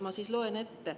Ma loen ette.